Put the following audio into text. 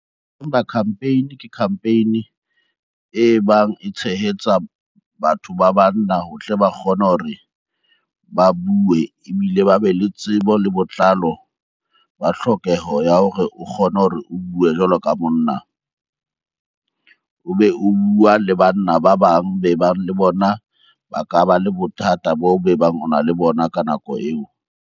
Campaign ke campaign e bang e tshehetsa batho ba banna ho tle ba kgone hore ba bue ebile ba be le tsebo le botlalo ba tlhokeho ya hore o kgone hore o bue jwalo ka monna. O be o bua le banna ba bang be bang le bona ba ka ba le bothata bo be bang o na le bona ka nako eo.